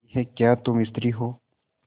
यह क्या तुम स्त्री हो